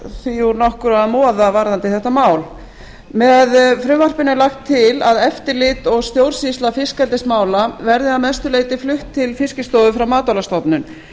úr nokkru að moða varðandi þetta mál með frumvarpinu er lagt til að eftirlit og stjórnsýsla fiskeldismála verði að mestu leyti flutt til fiskistofu frá matvælastofnun